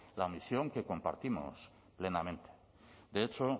la misión que compartimos plenamente de hecho